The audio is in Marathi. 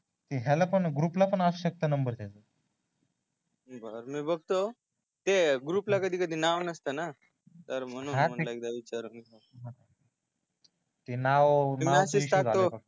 याला पण ग्रुप ला पण असू शकतो नंबर त्याचा बरं मी बघतो ते ग्रुप ला कधी कधी नाव नसते न तर म्हणून म्हणलं एकदा विचारल ते नाव मी टाकतो मसाज